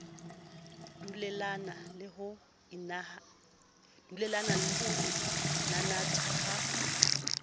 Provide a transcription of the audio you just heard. dulellane le ho inanatha ha